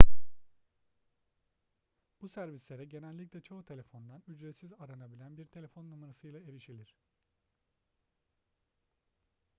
bu servislere genellikle çoğu telefondan ücretsiz aranabilen bir telefon numarasıyla erişilir